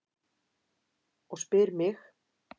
Og spyr mig: